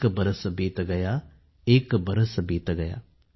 एक बरस बीत गया ।।